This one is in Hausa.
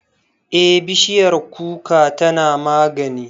Eh, bishiyar kuka tana magani